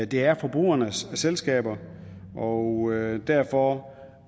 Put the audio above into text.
det er forbrugernes selskaber og derfor var